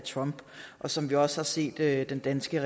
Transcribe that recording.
af trump og som vi også har set at den danske